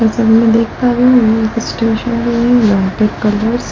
जैसा कि मैं देख पा रही हूं --